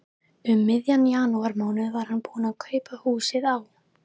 Um miðjan janúarmánuð var hann búinn að kaupa húsið á